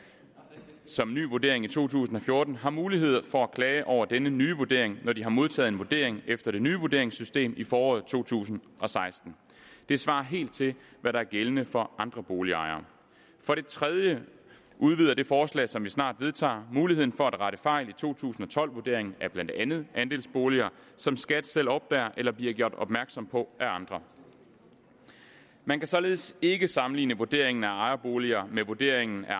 som ny vurdering i to tusind og fjorten har mulighed for at klage over denne nye vurdering når de har modtaget en vurdering efter det nye vurderingssystem i foråret to tusind og seksten det svarer helt til hvad der er gældende for andre boligejere for det tredje udvider det forslag som vi snart vedtager muligheden for at rette fejl i to tusind og tolv vurderingen af blandt andet andelsboliger som skat selv opdager eller bliver gjort opmærksom på af andre man kan således ikke sammenligne vurderingen af ejerboliger med vurderingen af